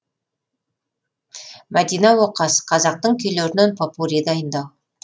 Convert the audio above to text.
мадина оқас қазақтың күйлерінен попурри дайындау